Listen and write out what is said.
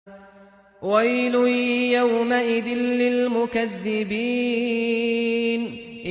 وَيْلٌ يَوْمَئِذٍ لِّلْمُكَذِّبِينَ